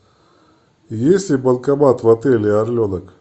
есть ли банкомат в отеле орленок